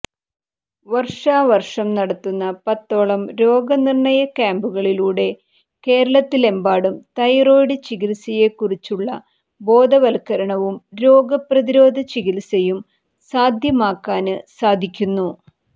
വര്ഷാവര്ഷം നടത്തുന്ന പത്തോളം രോഗനിര്ണയ ക്യാംപുകളിലൂടെ കേരളത്തിലെമ്പാടും തൈറോയിഡ് ചികിത്സയെക്കുറിച്ചുള്ള ബോധവല്ക്കരണവും രോഗപ്രതിരോധ ചികിത്സയും സാധ്യമാക്കാന് സാധിക്കുന്നു